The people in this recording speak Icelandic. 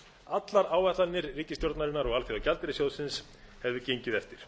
allar áætlanir ríkisstjórnarinnar og aþjóðagjaldeyirssjóðsins hefðu gengið eftir